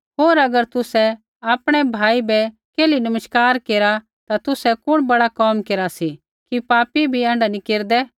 होर अगर तुसै आपणै भाई बै केल्ही नमस्कार केरा ता तुसै कुण बड़ा कोम केरा सी कि पापी भी ऐण्ढा नी केरदै